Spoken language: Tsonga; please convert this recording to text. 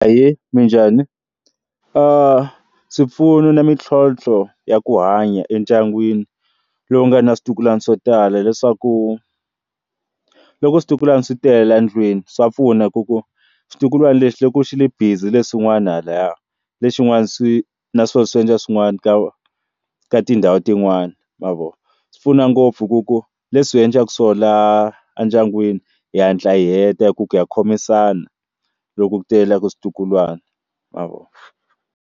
Ahee, minjhani? swipfuno na mitlhontlho ya ku hanya endyangwini lowu nga na switukulwana swo tala hileswaku loko switukulwana swi tele endlwini swa pfuna hi ku ku switukulwana lexi loko xi ri busy lexin'wana lahaya lexin'wana swi naswona swi endla swin'wana ka ka tindhawu tin'wani ma vo swi pfuna ngopfu ku ku leswi endlaka swona endyangwini hi hatla heta hi ku ku ya khomisana loko ku tele switukulwana ma vo.